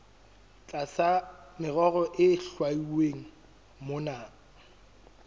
tlasa merero e hlwauweng mona